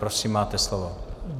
Prosím, máte slovo.